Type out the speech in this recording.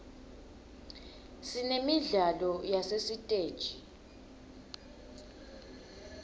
sinemidlalo yasesiteji